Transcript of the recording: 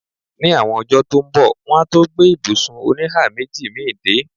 Ní àwọn ọjọ́ tó ń bọ̀, wọ́n á tó gbé ibùsùn oníhàméjì mi dé.